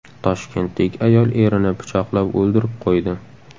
Toshkentlik ayol erini pichoqlab o‘ldirib qo‘ydi.